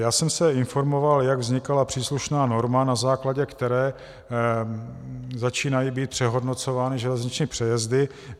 Já jsem se informoval, jak vznikala příslušná norma, na základě které začínají být přehodnocovány železniční přejezdy.